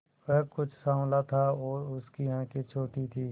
वह कुछ साँवला था और उसकी आंखें छोटी थीं